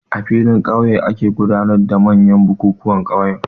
A filin ƙauye ake gudanar da manyan bukuwan ƙauye.